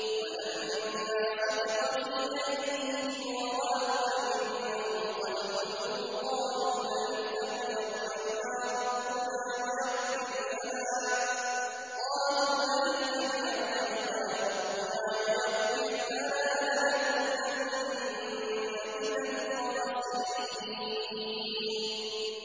وَلَمَّا سُقِطَ فِي أَيْدِيهِمْ وَرَأَوْا أَنَّهُمْ قَدْ ضَلُّوا قَالُوا لَئِن لَّمْ يَرْحَمْنَا رَبُّنَا وَيَغْفِرْ لَنَا لَنَكُونَنَّ مِنَ الْخَاسِرِينَ